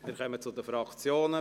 Wir kommen zu den Fraktionen.